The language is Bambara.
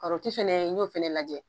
fɛnɛ n ɲ'o fɛnɛ lajɛ